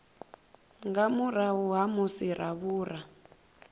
nga murahu ha musi ravhura